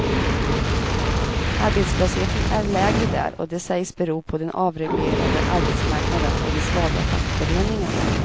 Arbetslösheten är lägre där och det sägs bero på den avreglerade arbetsmarknaden och de svaga fackföreningarna.